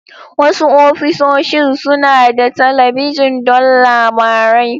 Wasu ofisoshin suna da talabijin don labarai.